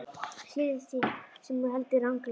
Skila því sem þú heldur ranglega.